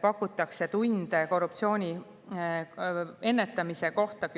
pakutakse gümnaasiumides tunde korruptsiooni ennetamise kohta.